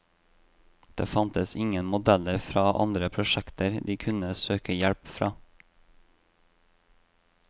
Det fantes ingen modeller fra andre prosjekter de kunne søke hjelp fra.